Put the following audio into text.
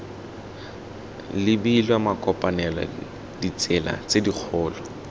lebilwe makopanelo ditsela tse dikgolo